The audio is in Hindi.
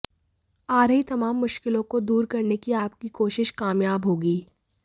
आ रही तमाम मुश्किलों को दूर करने की आप की कोशिश कामयाब होगी